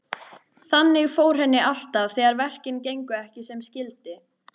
Þannig fór henni alltaf þegar verkin gengu ekki sem skyldi.